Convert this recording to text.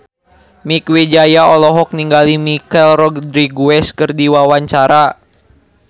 Mieke Wijaya olohok ningali Michelle Rodriguez keur diwawancara